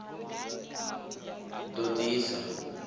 ḓ o ḓ isa n